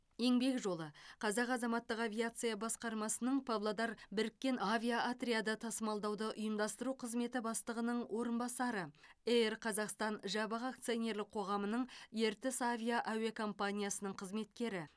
еңбек жолы қазақ азаматтық авиация басқармасының павлодар біріккен авиаотряды тасымалдауды ұйымдастыру қызметі бастығының орынбасары эйр қазақстан жабық акционерлік қоғамының ертіс авиа әуе компаниясының қызметкері